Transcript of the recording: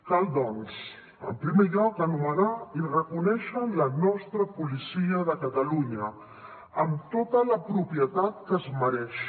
cal doncs en primer lloc anomenar i reconèixer la nostra policia de catalunya amb tota la propietat que es mereix